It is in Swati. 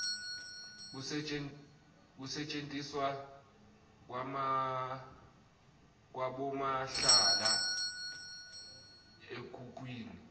kusetjentiswa kwabomahlala ekhukhwini